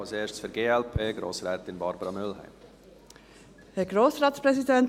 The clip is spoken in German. Als Erste, für die glp, Grossrätin Barbara Mühlheim.